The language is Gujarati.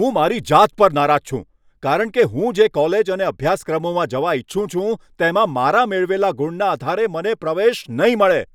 હું મારી જાત પર નારાજ છું, કારણ કે હું જે કોલેજ અને અભ્યાસક્રમોમાં જવા ઇચ્છું છું, તેમાં મારા મેળવેલા ગુણના આધારે મને પ્રવેશ નહીં મળે.